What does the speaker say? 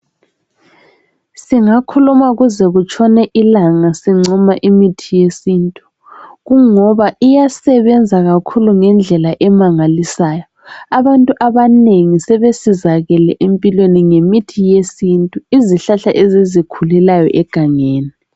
Singakhuluma kuze kutshone ilanga sincoma imithi yesintu ngoba iyasebenza okuzwayo ngendlela emangalisayo. Abantu abanengi sebesizakele ngemithi yesintu izihlahla ezizikhulelayo egangeni.